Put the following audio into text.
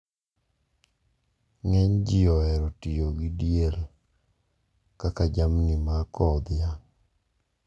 Ng`eny ji ohero tiyo gi diel kaka jamni mar kowo dhiang`.